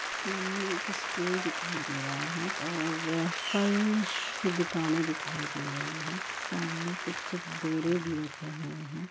सामने एक स्टोर दिखाई दे रहा है और पर्ल की दुकाने भी दिखाई दे रही है और सामने कुछ बोरे भी रखे हुए हैं।